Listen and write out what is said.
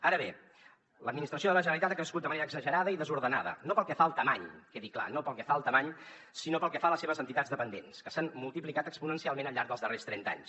ara bé l’administració de la generalitat ha crescut de manera exagerada i desordenada no pel que fa a la grandària que quedi clar no pel que fa a la grandària sinó pel que fa a les seves entitats dependents que s’han multiplicat exponencialment al llarg dels darrers trenta anys